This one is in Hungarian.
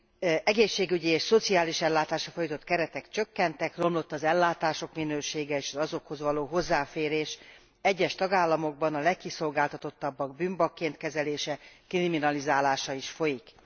Az egészségügyi és szociális ellátásra fordított keretek csökkentek, romlott az ellátások minősége és az azokhoz való hozzáférés, egyes tagállamokban a legkiszolgáltatottabbak bűnbakként kezelése, kriminalizálása is folyik.